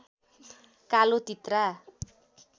कालो तित्रा